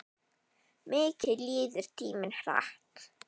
Mikið líður tíminn hratt.